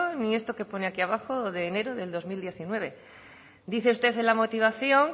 y esto que pone aquí abajo de enero de dos mil diecinueve dice usted en la motivación